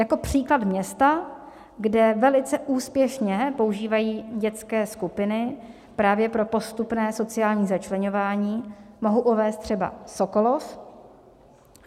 Jako příklad města, kde velice úspěšně používají dětské skupiny právě pro postupné sociální začleňování, mohu uvést třeba Sokolov.